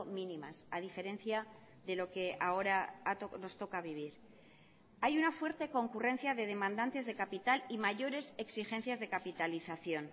mínimas a diferencia de lo que ahora nos toca vivir hay una fuerte concurrencia de demandantes de capital y mayores exigencias de capitalización